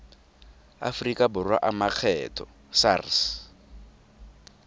aforika borwa a makgetho sars